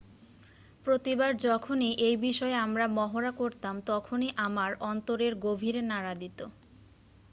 """""""প্রতিবার যখনই এই বিষয়ে আমরা মহড়া করতাম তখনই আমার অন্তরেরগভীরে নাড়া দিত।""""""